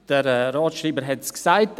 Der Staatsschreiber hat es gesagt: